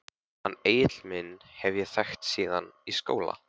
Hann Egil minn hef ég þekkt síðan í skóla.